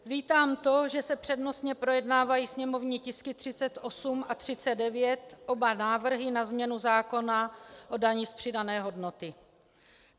Vítám to, že se přednostně projednávají sněmovní tisky 38 a 39 - oba návrhy na změnu zákona o dani z přidané hodnoty.